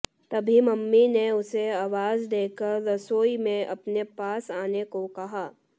तभी मम्मी ने उसे आवाज़ देकर रसोई में अपने पास आने को कहा